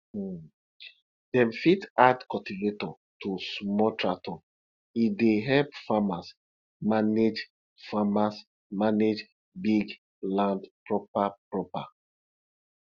um dem fit add cultivator to small tractor e dey help farmers manage farmers manage big land proper proper